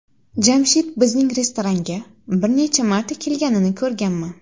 Jamshid bizning restoranga bir necha marta kelganini ko‘rganman.